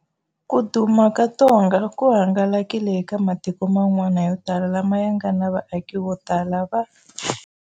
Ku duma ka ntonga ku hangalakile eka matiko man'wana yo tala lama ya nga na vaaki vo tala va.